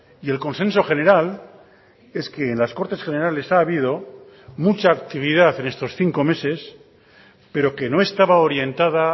y el consenso general es que en las cortes generales ha habido mucha actividad en estos cinco meses pero que no estaba orientada